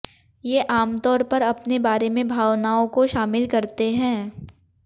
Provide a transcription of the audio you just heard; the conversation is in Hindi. ये आमतौर पर अपने बारे में भावनाओं को शामिल करते हैं